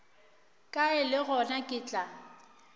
kae le gona ke tla